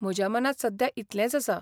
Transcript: म्हज्या मनांत सद्या इतलेंच आसा